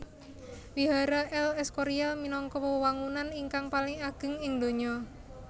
Wihara El Escorial minangka wewangunan ingkang paling ageng ing donya